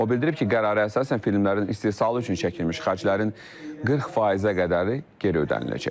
O bildirib ki, qərara əsasən filmlərin istehsalı üçün çəkilmiş xərclərin 40%-ə qədəri geri ödəniləcək.